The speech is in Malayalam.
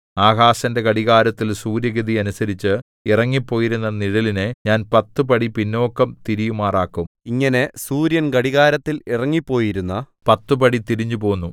ആഹാസിന്റെ ഘടികാരത്തിൽ സൂര്യഗതി അനുസരിച്ച് ഇറങ്ങിപ്പോയിരിക്കുന്ന നിഴലിനെ ഞാൻ പത്തു പടി പിന്നോക്കം തിരിയുമാറാക്കും ഇങ്ങനെ സൂര്യൻ ഘടികാരത്തിൽ ഇറങ്ങിപ്പോയിരുന്ന പത്തു പടി തിരിഞ്ഞുപോന്നു